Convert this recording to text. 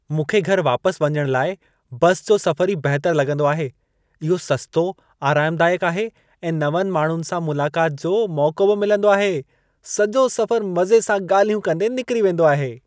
मूंखे घरि वापस वञण लाइ बसि जो सफ़रु ई बहितरु लॻंदो आहे। इहो सस्तो, आरामदायकु आहे ऐं नवंनि माण्हुनि सां मुलाक़ात जो मौक़ो बि मिलंदो आहे। सॼो सफ़रु मज़े सां ॻालल्हियूं कंदे निकिरी वेंदो आहे।